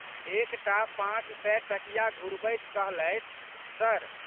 एक टा पाँचसय टकिया घुरबैत कहलथि, सर!